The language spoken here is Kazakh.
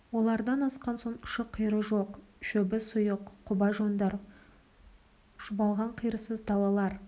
олардан асқан соң ұшы-қиыры жоқ шөбі сұйық құба жондар шұбалған қиырсыз далалар